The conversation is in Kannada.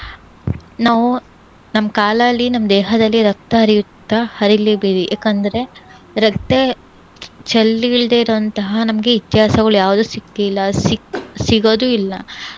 ನಾವು ನಮ್ ಕಾಲಲ್ಲಿ, ನಮ್ ದೇಹದಲ್ಲಿ ರಕ್ತ ಹರಿಯುತ್ತಾ ಹರೀಲಿ ಬಿಡಿ. ಯಾಕಂದ್ರೆ ರಕ್ತ ಚೆಲ್ಲಿಲ್ದೇ ಇರುವಂತಹ ನಮ್ಗೆ ಇತಿಹಾಸಗಳು ಯಾವ್ದೂ ಸಿಕ್ಕಿಲ್ಲ, ಸಿಕ್~ ಸಿಗದು ಇಲ್ಲ.